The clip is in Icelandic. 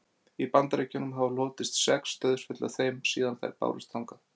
í bandaríkjunum hafa hlotist sex dauðsföll af þeim síðan þær bárust þangað